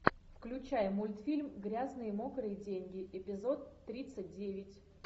включай мультфильм грязные мокрые деньги эпизод тридцать девять